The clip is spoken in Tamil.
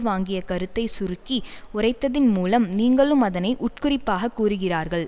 வாங்கிய கருத்தை சுருக்கி உரைத்ததின் மூலம் நீங்களும் அதனை உட்குறிப்பாகக் கூறுகிறார்கள்